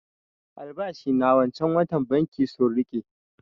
Albashi na wancan watan banki sun riƙe